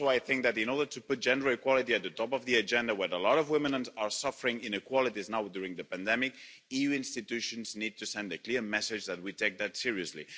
Also I think that in order to put gender equality at the top of the agenda when a lot of women are suffering inequalities now during the pandemic, EU institutions need to send a clear message that we take that seriously.